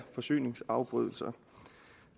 forsyningsafbrydelser